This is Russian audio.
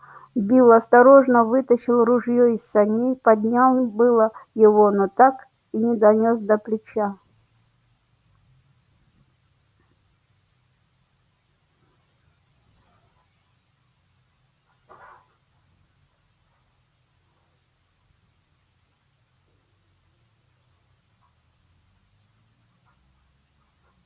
билл осторожно вытащил ружье из саней поднял было его но так и не донёс до плеча